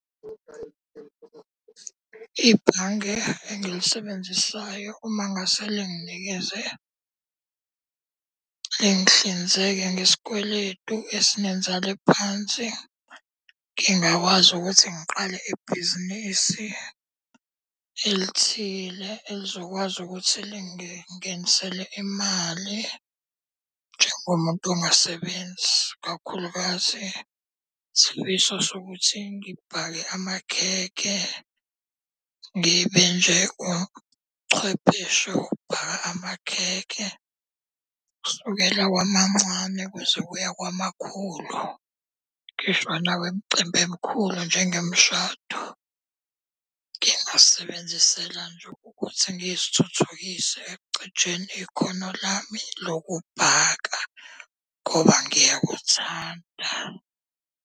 Ibhange engilisebenzisayo uma ngase linginikeze, lingihlinzeke ngesikweletu esinenzalo ephansi. Ngingakwazi ukuthi ngiqale ibhizinisi elithile elizokwazi ukuthi lingingenisele imali njengomuntu ongasebenzi. Kakhulukazi isifiso sokuthi ngibhake amakhekhe, ngibe nje uchwepheshe wokubhaka amakhekhe kusukela kwamamncane kuze kuye kwamakhulu. Ngisho nawemicimbi emikhulu njengemishado. Ngingasebenzisela nje ukuthi ngizithuthukise ekucijeni ikhono lami lokubhaka ngoba ngiyakuthanda.